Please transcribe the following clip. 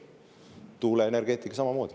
Tuuleenergeetika samamoodi.